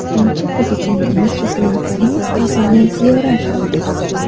Birinchi Prezidentimiz Islom Karimov qabrini ziyorat qildik.